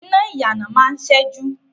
Iná ìyànà máa ń ṣẹ́jú